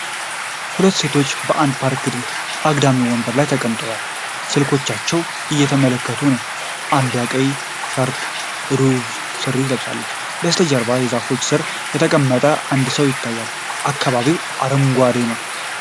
ሁለት ሴቶች በአንድ ፓርክ አግዳሚ ወንበር ላይ ተቀምጠው ስልኮቻቸውን እየተመለከቱ ነው። አንዷ ቀይ ሻርፕና ሮዝ ሱሪ ለብሳለች። ከበስተጀርባ በዛፎች ስር የተቀመጠ አንድ ሰው ይታያል፤ አካባቢው አረንጓዴ ነው።